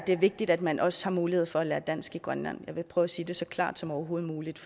vigtigt at man også har mulighed for at lære dansk i grønland jeg vil prøve at sige det så klart som overhovedet muligt